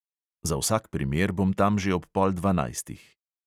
Za vsak primer bom tam že ob pol dvanajstih.